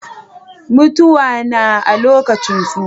Mutuwa na a lokacin tsufa.